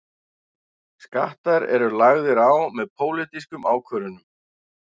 Skattar eru lagðir á með pólitískum ákvörðunum.